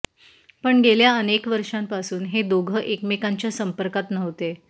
पण गेल्या अनेक वर्षांपासून हे दोघं एकमेकांच्या संपर्कात नव्हते